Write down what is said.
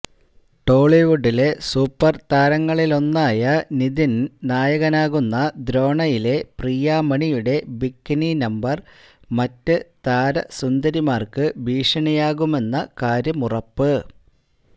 ടോളിവുഡിലെ super താരങ്ങളിലൊന്നായ നിതിന് നായകനാകുന്ന ദ്രോണയിലെ പ്രിയാമണിയുടെ ബിക്കിനി നമ്പര് മറ്റ് താരസുന്ദരിമാര്ക്ക് ഭീഷണിയാകുമെന്ന കാര്യമുറപ്പ്